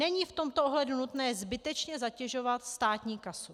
Není v tomto ohledu nutné zbytečně zatěžovat státní kasu.